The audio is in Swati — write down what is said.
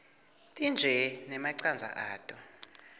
tintje nemacandza ato